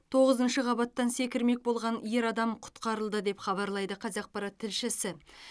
тоғызыншы қабаттан секірмек болған ер адам құтқарылды деп хабарлайды қазақпарат тілшісі